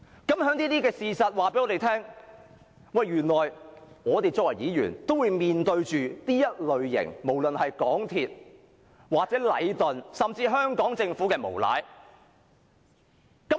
這些事實均告訴我們，原來我們身為議員，也會面對這類無論是港鐵公司或禮頓，甚至香港政府的無賴表現。